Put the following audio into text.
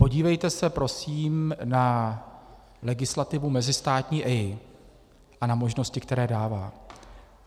Podívejte se prosím na legislativu mezistátní EIA a na možnosti, které dává.